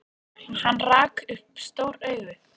Í þessum bardaga eiga margir undir högg að sækja!